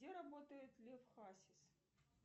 где работает лев хасис